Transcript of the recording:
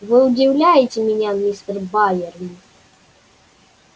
вы удивляете меня мистер байерли